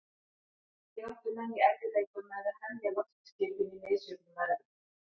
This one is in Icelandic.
Einnig áttu menn í erfiðleikum með að hemja loftskipin í misjöfnum veðrum.